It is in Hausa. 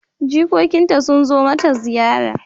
Jikokinta sun zo mata ziyara.